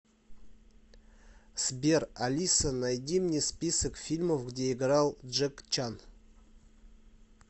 сбер алиса найди мне список фильмов где играл джек чан